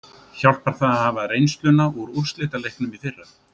Hjálpar það að hafa reynsluna úr úrslitaleiknum í fyrra?